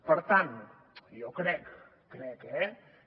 per tant jo crec crec eh que